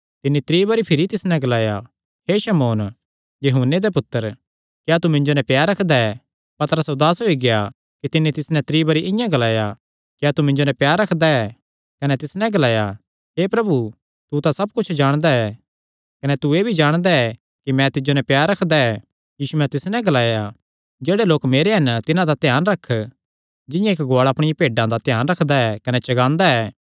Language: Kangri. तिन्नी त्री बरी भिरी तिस नैं ग्लाया हे शमौन यूहन्ने दे पुत्तर क्या तू मिन्जो नैं प्यार रखदा ऐ पतरस उदास होई गेआ कि तिन्नी तिस नैं त्री बरी इआं ग्लाया क्या तू मिन्जो नैं प्यार रखदा ऐ कने तिस नैं ग्लाया हे प्रभु तू तां सब कुच्छ जाणदा ऐ कने तू एह़ भी जाणदा ऐ कि मैं तिज्जो नैं प्यार रखदा ऐ यीशुयैं तिस नैं ग्लाया जेह्ड़े लोक मेरे हन तिन्हां दा ध्यान रख जिंआं इक्क गुआल़ा अपणियां भेड्डां दा ध्यान रखदा कने चगांदा ऐ